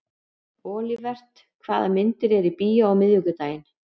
Olivert, hvaða myndir eru í bíó á miðvikudaginn?